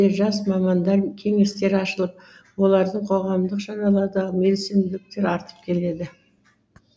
жас мамандар кеңестері ашылып олардың қоғамдық шаралардағы белсенділіктері артып келеді